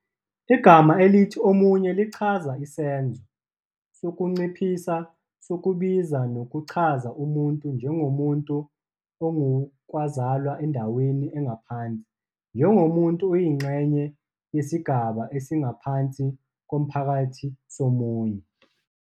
Igama elithi Omunye lichaza isenzo sokunciphisa sokubizwa nokuchaza umuntu njengomuntu ongowokuzalwa endaweni engaphansi, njengomuntu oyingxenye yesigaba esingaphansi komphakathi somunye.